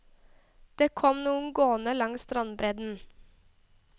Det kom noen gående langs strandbredden.